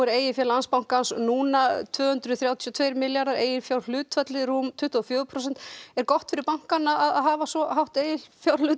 eigið fé Landsbankans er núna tvö hundruð þrjátíu og tveir milljarðar og eiginfjárhlutfallið rúm tuttugu og fjögur prósent er gott fyrir bankann að hafa svo hátt eiginfjárhlutfall